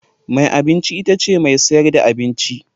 Mai abinci itace mai sayar da abinci.